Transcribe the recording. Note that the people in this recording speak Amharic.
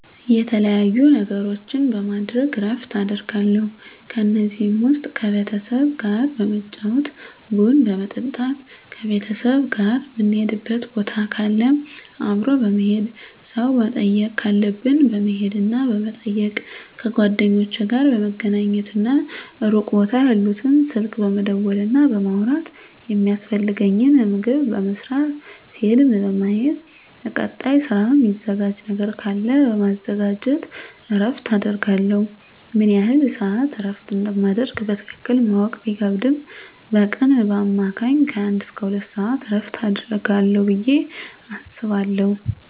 የተለያዩ ነገሮችን በማድረግ እረፍት አደርጋለሁ ከነዚህም ውስጥ ከቤተሰብ ጋር በመጫወት ቡና በመጠጣት ከቤተሰብ ጋር ምንሄድበት ቦታ ካለ አብሮ በመሄድ ሰው መጠየቅ ካለብን በመሄድና በመጠየቅ ከጓደኞቼ ጋር በመገናኘትና ሩቅ ቦታ ያሉትን ስልክ በመደወልና በማውራት የሚያስፈልገኝን ምግብ በመስራት ፊልም በማየት ለቀጣይ ስራ ሚዘጋጅ ነገር ካለ በማዘጋጀት እረፍት አደርጋለሁ። ምን ያህል ስዓት እረፍት እንደማደርግ በትክክል ማወቅ ቢከብድም በቀን በአማካኝ ከአንድ እስከ ሁለት ሰዓት እረፍት አደርጋለሁ ብየ አስባለሁ።